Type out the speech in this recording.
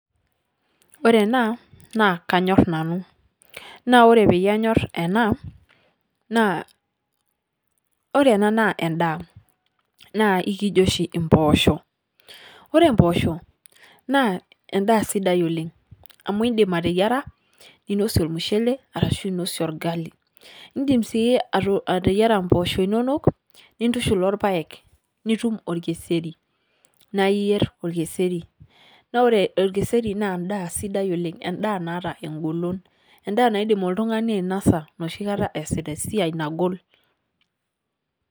Ore ena naa kanyor nanu naa ore peyie anyor ena naa ore ena naa endaa naa ikijo oshi impoosho. Ore mpoosho naa endaa sidai oleng' amu iindim ateyiara ninosie ormushele arashu inosie orgali, indim sii ato ateyiara mpoosho inonok nintushul orpaek nitum orkeseri naa iyer orkeseri naa ore orkeseri naa endaa sidai oleng', endaa naata eng'olon, endaa naidim oltung'ani ainosa enoshi kata eesita esiai nagol.